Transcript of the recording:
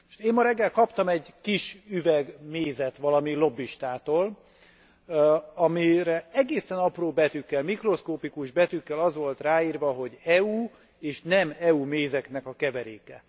Én ma reggel kaptam egy kis üveg mézet valami lobbistától, amire egészen apró betűkkel, mikroszkopikus betűkkel az volt ráírva, hogy EU és nem EU mézeknek a keveréke.